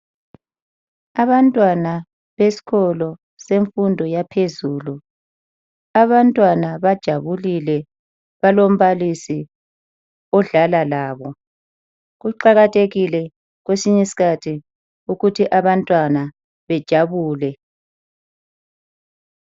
Abantwana besikolo semfundo yaphezulu. Abantwana bajabulile ngoba balombalisi odlala labo. Kuqakathekile ukuthi kwesinye isikhathi abantwana bejabule.